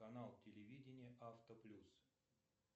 канал телевидения автоплюс